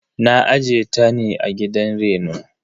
Na aje ta ne a gidan reno.